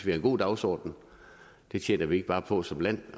en god dagsorden det tjener vi ikke bare på som land i